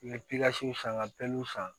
N bɛ san n ka san